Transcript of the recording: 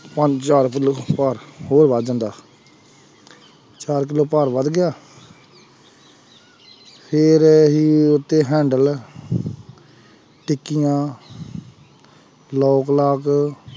ਪੰਜ ਚਾਰ ਕਿੱਲੋ ਭਾਰ ਹੋਰ ਵੱਧ ਜਾਂਦਾ ਚਾਰ ਕਿੱਲੋ ਭਾਰ ਵੱਧ ਗਿਆ ਫਿਰ ਅਸੀਂ ਉਹ ਤੇ handle ਟਿੱਕੀਆਂ lock ਲਾਕ